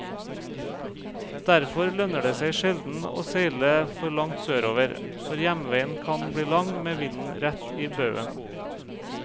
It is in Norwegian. Derfor lønner det seg sjelden å seile for langt sørover, for hjemveien kan bli lang med vinden rett i baugen.